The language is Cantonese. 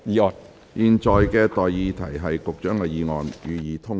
我現在向各位提出上述待決議題。